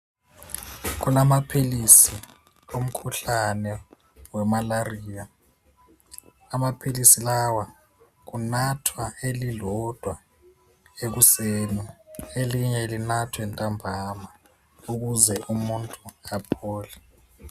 Kulamaphilisi womkhuhlane wemalaria, amaphilisi lawa kunathwa elilodwa ekuseni elinye linathwe ntambama ukuze umuntu aphole.